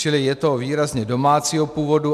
Čili je to výrazně domácího původu.